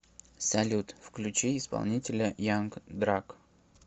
салют включи исполнителя янг драг